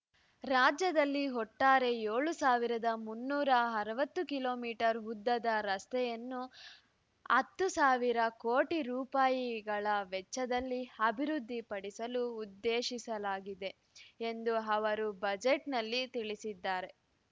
ರಾಜ್ಯದಲ್ಲಿ ಒಟ್ಟಾರೆ ಏಳು ಸಾವಿರದ ಮುನ್ನೂರ ಅರವತ್ತು ಕಿಲೋ ಮೀಟರ್ ಉದ್ದದ ರಸ್ತೆಗಳನ್ನು ಹತ್ತು ಸಾವಿರ ಕೋಟಿ ರೂಪಾಯಿಗಳ ವೆಚ್ಚದಲ್ಲಿ ಅಭಿವೃದ್ಧಿಪಡಿಸಲು ಉದ್ದೇಶಿಸಲಾಗಿದೆ ಎಂದು ಅವರು ಬಜೆಟ್‌ನಲ್ಲಿ ತಿಳಿಸಿದ್ದಾರೆ